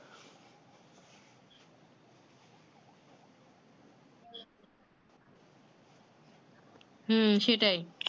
হু সেটাই